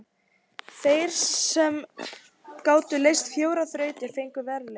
Þeir sem gátu leyst fjórar þrautir fengu verðlaun.